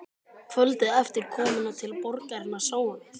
Kvöldið eftir komuna til borgarinnar sáum við